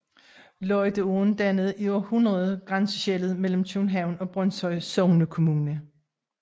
Lygteåen dannede i århundreder grænseskellet mellem København og Brønshøj Sognekommune